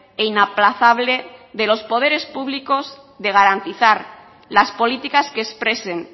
e inaplazable de los poderes públicos de garantizar las políticas que expresen